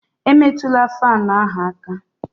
Emetụla fáan ahụ aka